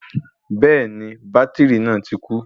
Bẹ́ẹ̀ni bátìrì náà ti kú